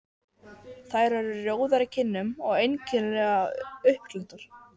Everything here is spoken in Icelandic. Þær eru rjóðar í kinnum og einkennilega uppglenntar.